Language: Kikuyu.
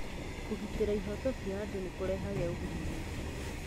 Kũgitĩra ihooto cia andũ nĩ kũrehaga ũguni mũingĩ.